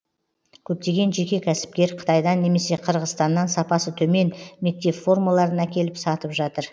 көптеген жеке кәсіпкер қытайдан немесе қырғызстаннан сапасы төмен мектеп формаларын әкеліп сатып жатыр